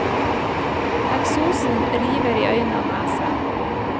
Eksosen river i øyne og nese.